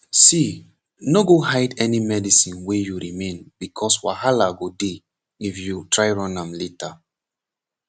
see no go hide any medicine wey you remain becoz walaha go dey if you try run am later